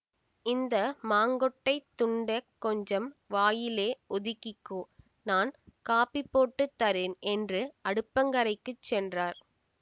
இந்த மாங்கொட்டைத் துண்டெக் கொஞ்சம் வாயிலே ஒதுக்கிக்கோ நான் காப்பி போட்டு தரேன் என்று அடுப்பங்கரைக்குச் சென்றார்